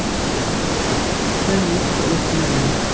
hrópaði lögmaðurinn líkt og uppnuminn.